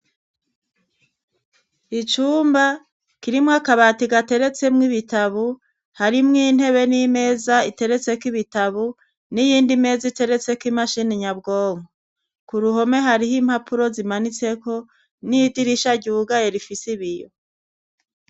Icumba kirimwo akabati gateretsemwo ibitabo, harimwo intebe n'imeza iteretseko ibitabo n'iyindi meza iteretseko imashini nyabwonko. Ku ruhome hariho impapuro zimanitseko n'idirisha ryugaye rifise ibiyo.